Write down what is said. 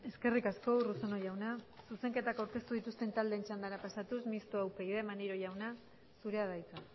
eskerrik asko urruzuno jauna zuzenketak aurkeztu dituzten taldeen txandara pasatuz mistoa upyd maneiro jauna zurea da hitza